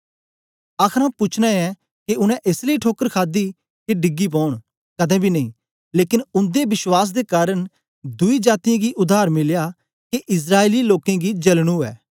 आखर आऊँ पूछना ऐं के उनै एस लेई ठोकर खादी के डिगी पौन कदें बी नेई लेकन उन्दे अविश्वास दे कारन दुई जातीयें गी उद्धार मिलया के इस्राएली लोकें गी जलन उवै